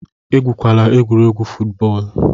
Egwukwala egwuregwu fụtbọọlu!